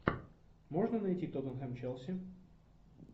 можно найти тоттенхэм челси